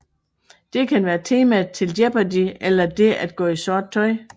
Det kan være temaet til Jeopardy eller det at gå i sort tøj